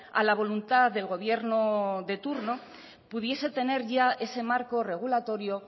a la voluntad del gobierno de turno pudiese tener ya ese marco regulatorio